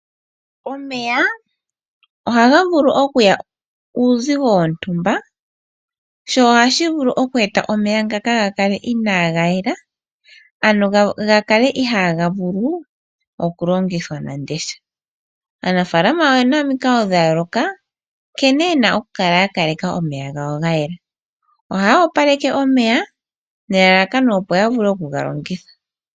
Omeya ohaga vulu okuya uuzigo wontumba nohashi vulu okweeta omeya ngano gakale inaga yela, ano gakale ihaga vulu oku longithwa nande osha. Aanafalama oyena omikalo dhayooloka nkene yena oku kaleka omeya gawo gayela. Ohaya opaleke omeya nelalakano opo yavule oku galongitha.